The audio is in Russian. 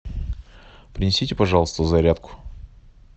принесите пожалуйста зарядку